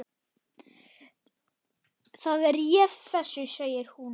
Það réð þessu, segir hún.